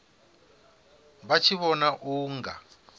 vha tshi vhona u nga